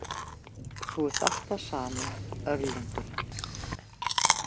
Þú ert alltaf sami öðlingurinn.